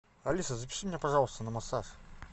алиса запиши меня пожалуйста на массаж